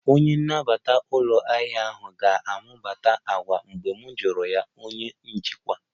Onye na-anabata ụlọ ahịa ahụ ga-amụta àgwà mgbe m kọọrọ ya onye njikwa